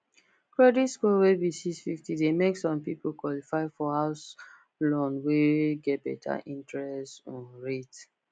credit score wey be six fifty de make some people qualify for house loan wey get better interest um rate